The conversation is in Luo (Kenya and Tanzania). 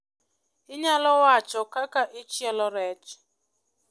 Inyalo wacho kaka ichielo rech?